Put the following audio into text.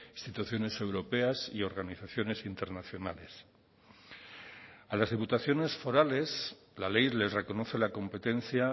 instituciones europeas y organizaciones internacionales a las diputaciones forales la ley les reconoce la competencia